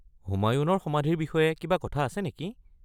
হুমায়ুণৰ সমাধিৰ বিষয়ে কিবা কথা আছে নেকি?